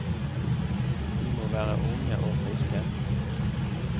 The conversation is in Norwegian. De må være unge og friske.